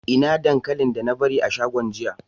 Ina dankalin da na bari a shagon jiya?